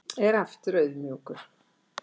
Er aftur auðmjúkur